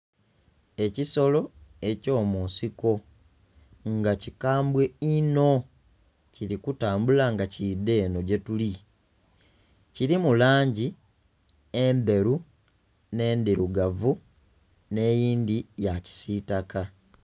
Ekisolo ekyomunsiko nga kikambwe inho kiri kutambula nga kidha eno gyetuli kirimu langi endheru, n'endhirugavu n'eyindhi yakisitaka.